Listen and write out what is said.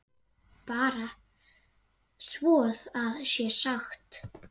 Bara svo það sé sagt.